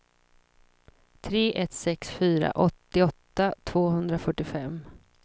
tre ett sex fyra åttioåtta tvåhundrafyrtiofem